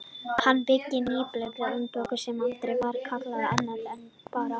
Hann byggði nýbýlið á Byggðarholti sem aldrei var kallað annað en Barð.